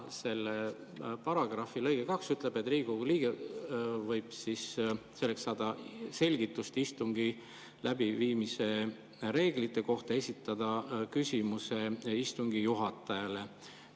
Sellesama paragrahvi lõige 2 ütleb, et Riigikogu liige võib saada selgitust istungi läbiviimise reeglite kohta, esitades küsimuse istungi juhatajale.